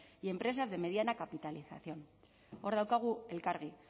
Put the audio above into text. y empresas de mediana capitalización hor daukagu elkargi